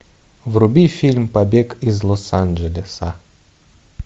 вруби фильм побег из лос анджелеса